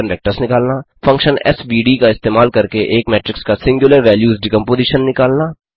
function SVD SVD का इस्तेमाल करके एक मेट्रिक्स का सिंग्युलर बैल्यूज डिकम्पोज़ीशन निकालना